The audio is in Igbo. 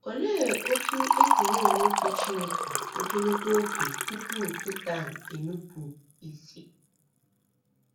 Olee otú e si na - eme uche Chineke ogologo oge tupu Setan enupụ tupu Setan enupụ isi?